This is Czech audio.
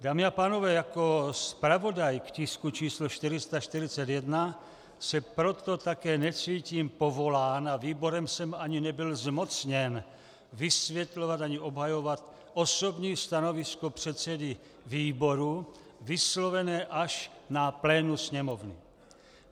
Dámy a pánové, jako zpravodaj k tisku číslo 441 se proto také necítím povolán a výborem jsem ani nebyl zmocněn vysvětlovat ani obhajovat osobní stanovisko předsedy výboru vyslovené až na plénu Sněmovny.